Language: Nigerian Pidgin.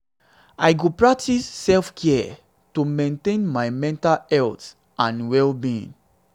i go practice self-care to maintain my mental strength and well-being.